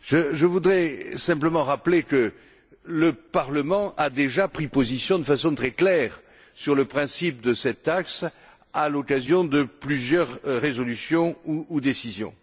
Je voudrais simplement rappeler que le Parlement a déjà pris position de façon très claire sur le principe de cette taxe, à l'occasion de plusieurs résolutions ou décisions.